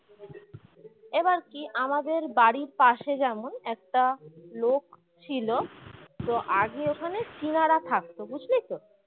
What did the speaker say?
এবার কি আমাদের বাড়ির পাশে যেমন একটা লোক ছিল তো আগে ওখানে চীনারা থাকতো বুঝলি তো